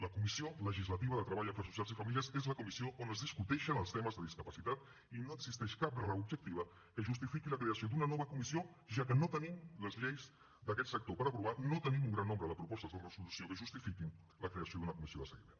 la comissió legislativa de treball afers socials i famílies és la comissió on es discuteixen els temes de discapacitat i no existeix cap raó objectiva que justifiqui la creació d’una nova comissió ja que no tenim les lleis d’aquest sector per aprovar no tenim un gran nombre de propostes de resolució que justifiquin la creació d’una comissió de seguiment